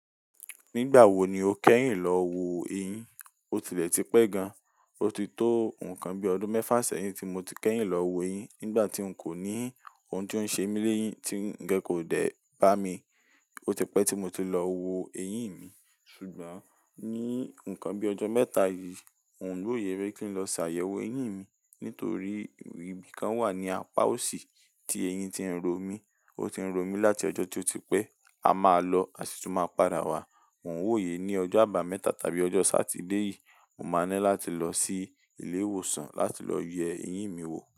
Nígbà wo ni o kẹ́yìn lọ wo eyín? O ti lè ti pẹ́ gan-an, o ti tó nǹkan bíi ọdún mẹ́fà sẹ́yìn tí mo ti kẹ́yìn lọ wo eyín. Nígbà tí n kò ní òun tí ó ń ṣe mí léyìn, tí ǹ gé kò dé bá mi. O ti pẹ́ tí mo ti lọ wo eyín mi, ṣùgbọ́n ní ǹkan bí ọjọ́ mẹ́ta yìí, n ò wòye rí kí n lọ ṣàyẹ̀wò eyín mi nítorí ibi kan wà ní apá òsì tí eyín ti ń ro mí. Ó ti ń ro mí láti ọjọ́ tí ó ti pẹ́. A máa lọ a sì tún máa padà wá. N ò wòye ní ọjọ́ àbámẹ́ta tàbí ọjọ́ Sátidé yìí, mo máa ní láti lọ sí ilé ìwòsàn láti lọ yẹ eyín mi wò.